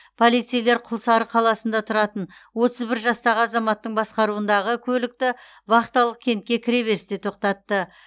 полицейлер құлсары қаласында тұратын отыз бір жастағы азаматтың басқаруындағы көлікті вахталық кентке кіреберісте тоқтатты